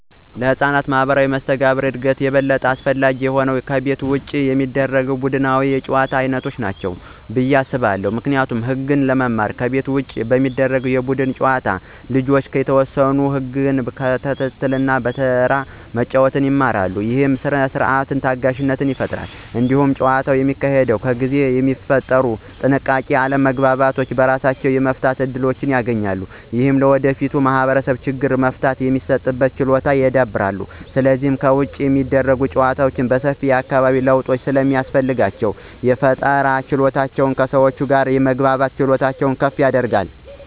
ለሕፃናት ማኅበራዊ መስተጋብር እድገት ይበልጥ አስፈላጊ የሆኑት ከቤት ውጭ የሚደረጉ ቡድናዊ የጨዋታ ዓይነቶች ናቸው ብዬ አስባለሁ። ምክንያቱም ህግጋትን ለመማር ከቤት ውጭ በሚደረጉ የቡድን ጨዋታዎች ልጆች የተወሰኑ ህግጋትን መከተልና በተራ መጫወት ይማራሉ። ይህ ሥርዓትንና ታጋሽነትን ይፈጥራል። እንዲሁም ጨዋታው በሚካሄድበት ጊዜ የሚፈጠሩ ጥቃቅን አለመግባባቶችን በራሳቸው የመፍታት እድል ያገኛሉ። ይህም ለወደፊት ማኅበራዊ ችግሮች መፍትሄ የመስጠት ችሎታን ያዳብራል። ስለዚህ ከቤት ውጭ የሚደረጉ ጨዋታዎች ሰፊ የአካባቢ ለውጥ ስለሚያስፈልጋቸው፣ የፈጠራ ችሎታንና ከሰዎች ጋር የመግባባትን ክህሎት ከፍ ያደርጋሉ።